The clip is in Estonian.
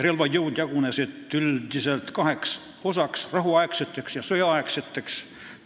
Relvajõud jagunesid üldiselt kaheks osaks: rahuaegseteks ja sõjaaegseteks.